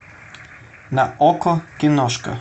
на окко киношка